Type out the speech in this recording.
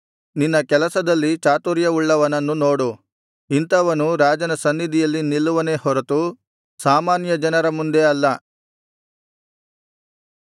ತನ್ನ ಕೆಲಸದಲ್ಲಿ ಚಾತುರ್ಯವುಳ್ಳವನನ್ನು ನೋಡು ಇಂಥವನು ರಾಜನ ಸನ್ನಿಧಿಯಲ್ಲಿ ನಿಲ್ಲುವನೇ ಹೊರತು ಸಾಮಾನ್ಯ ಜನರ ಮುಂದೆ ಅಲ್ಲ